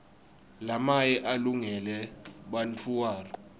lamaye alungele bantfuara